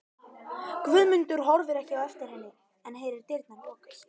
Guðmundur horfir ekki á eftir henni en heyrir dyrnar lokast.